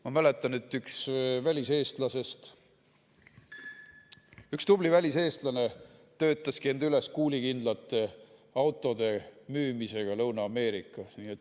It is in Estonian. Ma mäletan, et üks tubli väliseestlane töötaski end üles kuulikindlate autode müümisega Lõuna-Ameerikas.